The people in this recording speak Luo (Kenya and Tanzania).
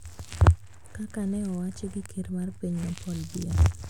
Kaka ne owachi gi ker mar pinyno Paul Biya